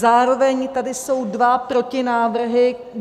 Zároveň jsou tady dva protinávrhy.